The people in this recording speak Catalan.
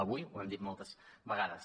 avui ho hem dit moltes vegades